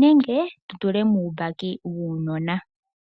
nenge tutule muumbaki wuunona.